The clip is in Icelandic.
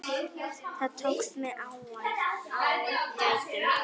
Það tókst með ágætum.